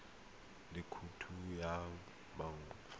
le khoutu ya banka fa